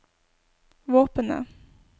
våpenet